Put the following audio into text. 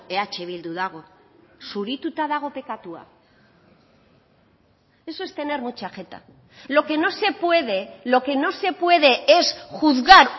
eh bildu dago zurituta dago pekatua eso es tener mucha jeta lo que no se puede lo que no se puede es juzgar